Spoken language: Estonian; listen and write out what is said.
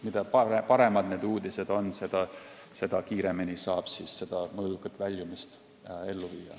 Mida paremad need uudised on, seda kiiremini saab mõõdukat väljumist ellu viia.